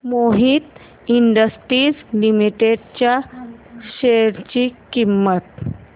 Mohit industries limited च्या share ची किंमत